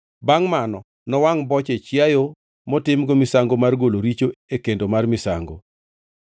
Bangʼ mano nowangʼ boche chiayo motimgo misango mar golo richo e kendo mar misango.